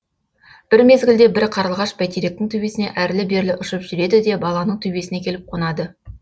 бір мезгілде бір қарлығаш бәйтеректің төбесіне әрлі берлі ұшып жүреді де баланың төбесіне келіп қонады